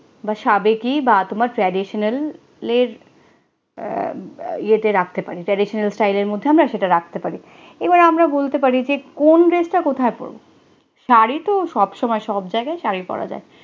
বাসাবে কি বাত মত traditional এর যে তে রাখতে পারে, traditional style এর মধ্যে সেটা আমি রাখতে পারি এবার আমরা বলতে পারি যে কোন দেশ তা কোথা পড়বো, শাড়ি তো সবসময় সব জায়গায় পরা জায়ে